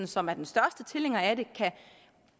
som er den største tilhænger af et